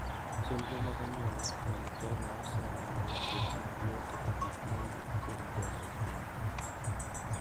Chenro mag anyuola mag Kenya oseneno lokruok maduong' kaka gik ma wuok kuom dongo bombe.